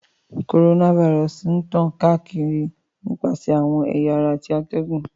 Coronavirus ń tan kaakiri nipasẹ awọn ẹ̀ya ara ti atẹgun.